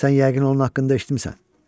Sən yəqin onun haqqında eşitmisən.